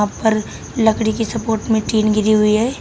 ऊपर लकड़ी की सपोर्ट में टीन गिरी हुई है।